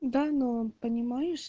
данон понимаешь